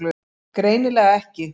Greinilega ekki.